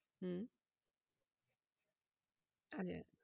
হম